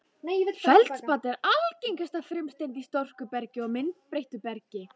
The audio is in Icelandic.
Feldspat er algengasta frumsteind í storkubergi og myndbreyttu bergi.